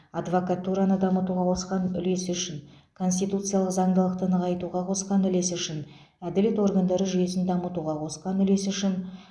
адвакатураны дамытуға қосқан улесі үшін конституциялық заңдылықты нығайтуға қосқан үлесі үшін әділет органдары жүйесін дамытуға қосқан үлесі үшін